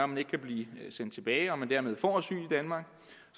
man ikke kan blive sendt tilbage og man dermed får